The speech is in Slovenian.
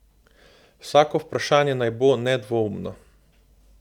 Vsako vprašanje naj bo nedvoumno.